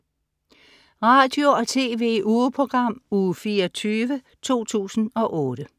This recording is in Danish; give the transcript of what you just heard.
Radio- og TV-ugeprogram Uge 24, 2008